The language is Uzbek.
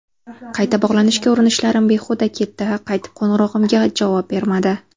Qayta bog‘lanishga urinishlarim behuda ketdi, qaytib qo‘ng‘irog‘imga javob bermadi.